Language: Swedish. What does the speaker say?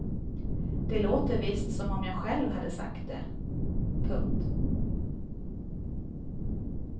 Det låter visst som om jag själv hade sagt det. punkt